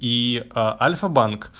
и альфа-банк